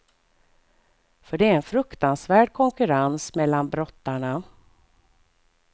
För det är en fruktansvärd konkurrens mellan brottarna.